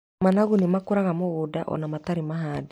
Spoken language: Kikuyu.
Managu nĩ makũraga mũgũnda ona matarĩ mahande.